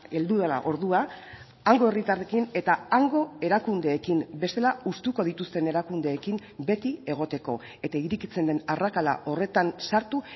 heldu dela ordua hango herritarrekin eta hango erakundeekin bestela hustuko dituzten erakundeekin beti egoteko eta irekitzen den arrakala horretan sartu